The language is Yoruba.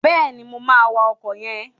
Bẹ́ẹ̀ni, mo máa wa ọkọ̀ yẹn.